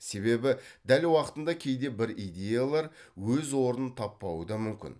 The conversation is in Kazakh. себебі дәл уақытында кейде бір идеялар өз орнын таппауы да мүмкін